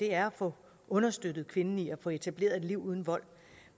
er at få understøttet kvinden i at få etableret et liv uden vold